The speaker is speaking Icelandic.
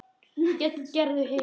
Gerður hikaði.